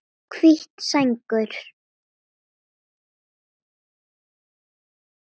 Hvít sængur